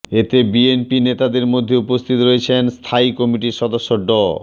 এতে বিএনপি নেতাদের মধ্যে উপস্থিত রয়েছেন স্থায়ী কমিটির সদস্য ড